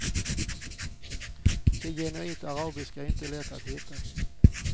Det genuint arabiska är inte lätt att hitta.